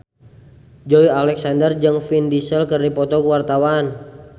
Joey Alexander jeung Vin Diesel keur dipoto ku wartawan